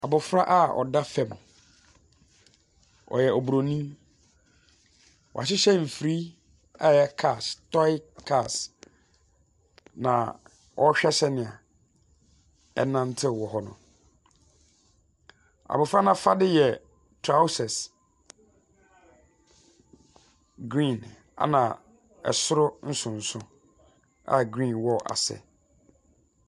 Abofra a ɔda fam. Ɔyɛ oburoni. Wɔahyehyɛ mfiri a ɛyɛ cars; toe cars. Na ɔrehwɛ sɛnea ɛnantew wɔ hɔ no. Abofra no afade yɛ trawsɛs green ɛna ɛsoro nsonso a green wɔ ase.